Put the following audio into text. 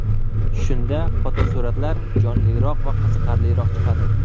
Shunda fotosuratlar jonliroq va qiziqarliroq chiqadi.